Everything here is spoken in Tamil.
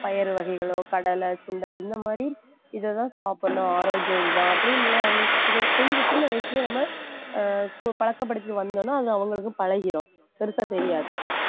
பயறு வகைகளோ கடலை, சுண்டல் இந்த மாதிரி இதைதான் சாப்பிடணும் ஆரோக்கியம் இதுதான் அப்படின்னு உள்ளதை அவங்களுக்கு கொஞ்சம் சின்ன வயசுலயே நம்ம பழக்கப்படுத்திட்டு வந்தோம்னா அது அவங்களுக்கு பழகிடும் பெருசா தெரியாது